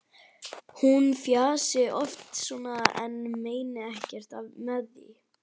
Hún fjasi oft svona en meini ekkert með því.